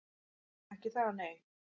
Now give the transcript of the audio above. Ekki það, nei?